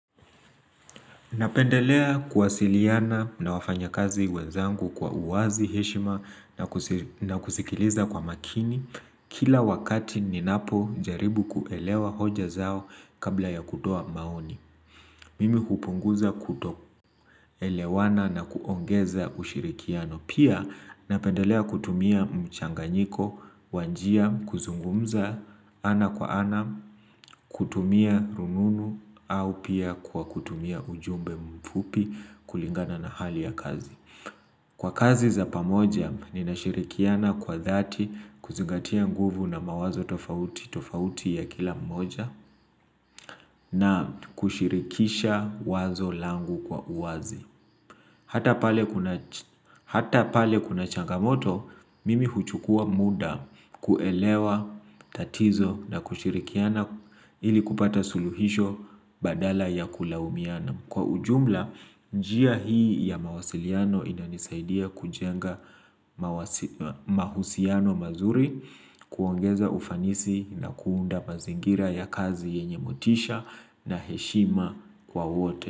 Napendelea kuwasiliana na wafanya kazi wenzangu kwa uwazi, heshima na kusikiliza kwa makini kila wakati ninapojaribu kuelewa hoja zao kabla ya kutoa maoni. Mimi hupunguza kutoelewana na kuongeza ushirikiano. Pia napendelea kutumia mchanganyiko wa njia, kuzungumza ana kwa ana, kutumia rununu, au pia kwa kutumia ujumbe mfupi kulingana na hali ya kazi. Kwa kazi za pamoja, ninashirikiana kwa dhati kuzingatia nguvu na mawazo tofauti tofauti ya kila mmoja na kushirikisha wazo langu kwa uwazi. Hata pale Hata pale kuna changamoto, mimi huchukua muda kuelewa tatizo na kushirikiana ili kupata suluhisho badala ya kulaumiana. Kwa ujumla, njia hii ya mawasiliano inanisaidia kujenga mahusiano mazuri, kuongeza ufanisi na kuunda mazingira ya kazi yenye motisha na heshima kwa wote.